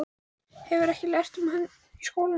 Hefurðu ekki lært um hann í skólanum?